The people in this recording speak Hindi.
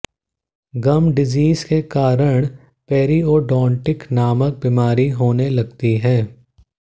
गम डिजीज के कारण पेरिओडोन्टिक नामक बीमारी होने लगती है